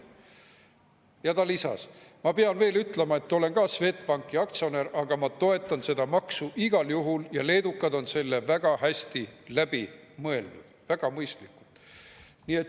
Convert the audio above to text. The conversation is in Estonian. " Ja ta lisas: "Ma pean veel ütlema, et ma olen ka Swedbanki aktsionär, aga ma toetan seda maksu igal juhul ja leedukad on selle väga hästi läbi mõelnud, väga mõistlikult.